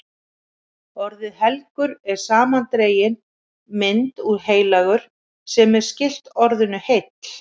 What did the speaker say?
Orðið helgur er samandregin mynd úr heilagur, sem er skylt orðinu heill.